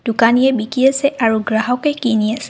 দোকানীয়ে বিকি আছে আৰু গ্ৰাহকে কিনি আছে।